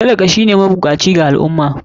Talaka shine mabukaci a al ummah